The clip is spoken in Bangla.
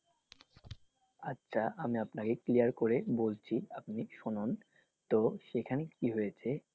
আচ্ছা আমি আপনাকে clear করে বলছি আপনি শুনুন তো সেখানে কি হয়েছে?